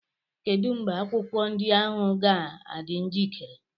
Kedu mgbe akwụkwọ ndị ahụ ga-adị njikere?